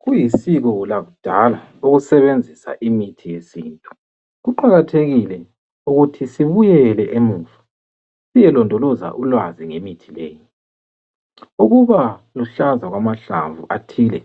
Kuyisiko lakudala ukusebenzisa imithi yesintu kuqakathekile ukuthi sibuyele emuva siyelondoloza ulwazi ngemithi leyi. Ukuba luhlaza kwamahlamvu athile